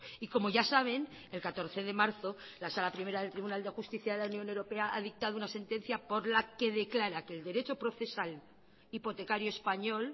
y como ya saben el catorce de marzo la sala primera del tribunal de justicia de la unión europea ha dictado una sentencia por la que declara que el derecho procesal hipotecario español